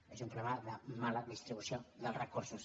és un problema de mala distribució dels recursos